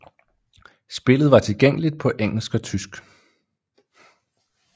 Spillet var tilgængeligt på engelsk og tysk